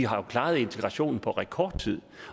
har jo klaret integrationen på rekordtid